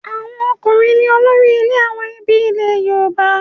Àwọn ọkùnrin ní olórí ilé àwọn ẹbí ilẹ̀ Yorùbá.